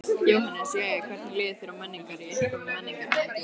Jóhannes: Jæja hvernig líður þér á Menningar, í upphafi Menningarnætur?